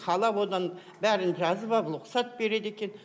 қала одан бәрін жазып алып рұқсат береді екен